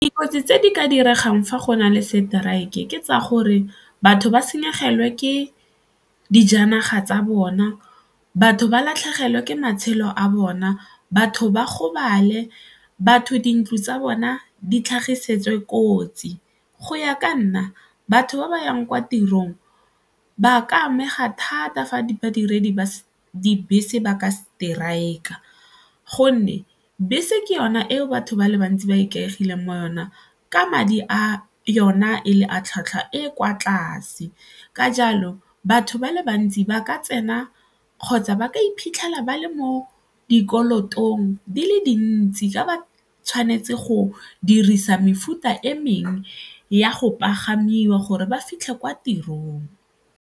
Dikotsi tse di ka diregang fa go na le strike-e ke tsaya gore batho ba senyegelwe ke dijanaga tsa bona, batho ba latlhegelwe ke matshelo a bona, batho ba gobale fa batho dintlo tsa bona di tlhagiseditse kotsi. Go ya ka nna batho ba ba yang kwa tirong ba ka amega thata fa badiredi ba dibese ba ka strike-a gonne bese ke yona eo batho ba le bantsi ba ikaegileng mo yona ka madi a yona e le a tlhwatlhwa e kwa tlase ka jalo batho ba le bantsi ba ka tsena kgotsa ba ka iphitlhela ba le mo dikolotong di le dintsi ka ba tshwanetse go dirisa mefuta e mengwe ya go pagamiwa gore ba fitlhe kwa tirong.